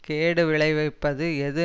கேடு விளைவிப்பது எது